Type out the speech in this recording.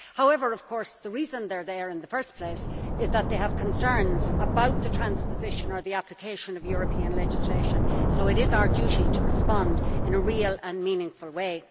However, the reason they are there in the first place of course is that they have concerns about the transposition or application of European legislation, so it is our duty to respond in a real and meaningful way.